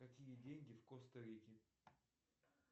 какие деньги в коста рике